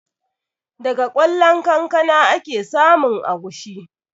Daga ƙwallon kankana ake samun agushi